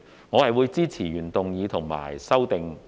我會支持原議案及修正案。